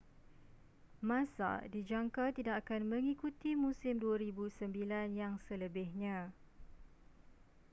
massa dijangka tidak akan mengikuti musim 2009 yang selebihnya